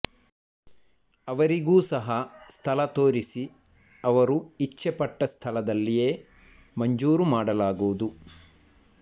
ಅವರಿಗೂ ಸಹ ಸ್ಥಳ ತೋರಿಸಿ ಅವರು ಇಚ್ಛೆಪಟ್ಟಸ್ಥಳದಲ್ಲಿಯೇ ಮಂಜೂರು ಮಾಡಲಾಗುವುದು